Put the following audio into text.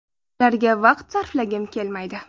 Ularga vaqt sarflagim kelmaydi.